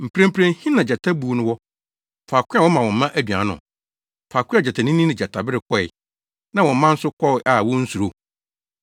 Mprempren he na gyata buw no wɔ, faako a wɔma wɔn mma aduan no, faako a gyatanini ne gyatabere kɔe na wɔn mma nso kɔ a wonsuro?